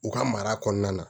U ka mara kɔnɔna na